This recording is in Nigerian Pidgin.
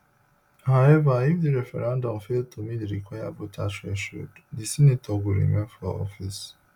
however if di referendum fail to meet di required voter threshold di senator go remain for office